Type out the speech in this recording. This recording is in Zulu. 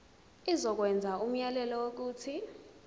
izokwenza umyalelo wokuthi